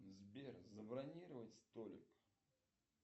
сбер забронировать столик